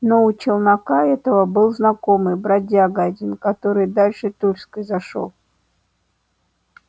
но у челнока этого был знакомый бродяга один который дальше тульской зашёл